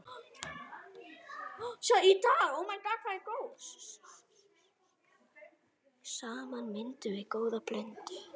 Saman myndum við góða blöndu.